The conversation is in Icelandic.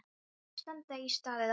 Ekki standa í stað eða hopa.